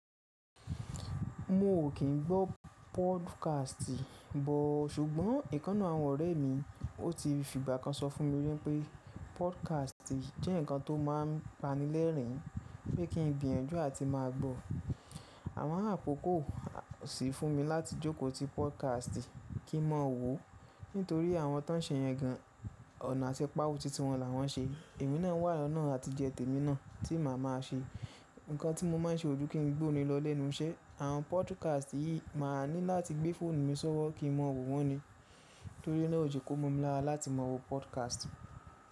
Mo ò kín gbọ́ podcast bọ̀, ṣùgbọ́n ìkán nu àwọn ọ̀rẹ́ mi, ó ti fìgbá kan sọ fún mi wípé podcast jẹ́ nǹkan tó máa ń pani lẹ́rìn-ín, pé kí n gbìyànjú à ti máa gbọ́. Àmo akọ̀ko ko sì fún mi láti jókòó ti podcast kí mọ̀ọ́ wò, nítorí àwọn tó ń ṣe yẹn gan-an ọ̀nà àti páwo títí wọn là wọ́n ṣe. Emí nàa wà ọ̀nà àtijẹ́ t'ẹ̀mí naà tí màá máa ṣe. Ǹnkan tí mo máa ń ṣe ojú kí n gbómi lọ lẹ́nu iṣẹ́. Àwọn podcast yìí màá ní láti gbé fóònù mi sówọ́ kí mọ̀ọ́ wò wọ́n ni. Torí náà ó je ko mó mi lára láti mọ̀ọ́ wò podcast.